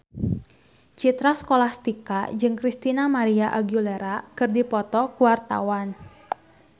Citra Scholastika jeung Christina María Aguilera keur dipoto ku wartawan